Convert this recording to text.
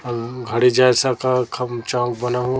और घड़ी जैसा का खम चा बना हु --